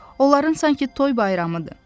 Onların sanki toy bayramıdır.